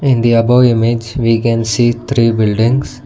in the above image we can see three buildings.